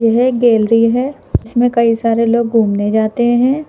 यह गैलरी है इसमें कई सारे लोग घूमने जाते हैं।